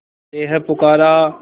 तुझे है पुकारा